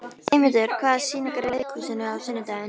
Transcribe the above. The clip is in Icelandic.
Eymundur, hvaða sýningar eru í leikhúsinu á sunnudaginn?